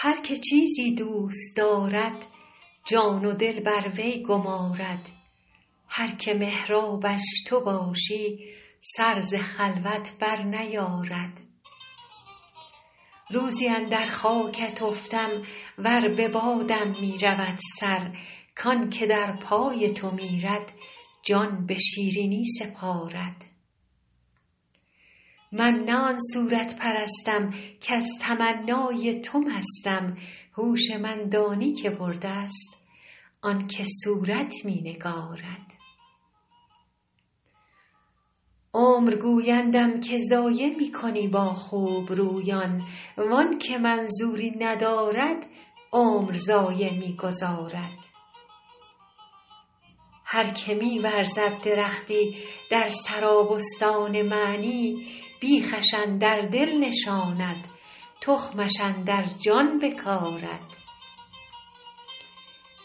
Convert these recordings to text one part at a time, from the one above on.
هر که چیزی دوست دارد جان و دل بر وی گمارد هر که محرابش تو باشی سر ز خلوت برنیارد روزی اندر خاکت افتم ور به بادم می رود سر کان که در پای تو میرد جان به شیرینی سپارد من نه آن صورت پرستم کز تمنای تو مستم هوش من دانی که برده ست آن که صورت می نگارد عمر گویندم که ضایع می کنی با خوبرویان وان که منظوری ندارد عمر ضایع می گذارد هر که می ورزد درختی در سرابستان معنی بیخش اندر دل نشاند تخمش اندر جان بکارد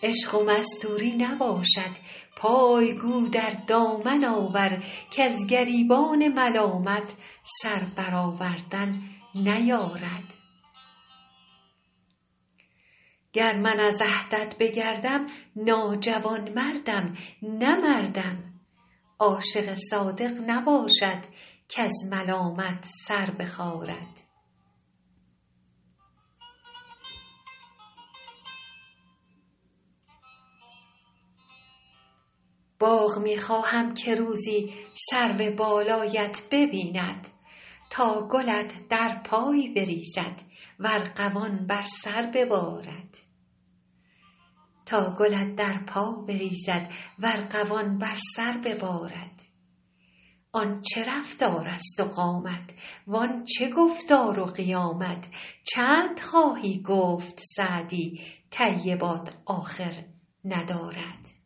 عشق و مستوری نباشد پای گو در دامن آور کز گریبان ملامت سر برآوردن نیارد گر من از عهدت بگردم ناجوانمردم نه مردم عاشق صادق نباشد کز ملامت سر بخارد باغ می خواهم که روزی سرو بالایت ببیند تا گلت در پا بریزد و ارغوان بر سر ببارد آن چه رفتارست و قامت وان چه گفتار و قیامت چند خواهی گفت سعدی طیبات آخر ندارد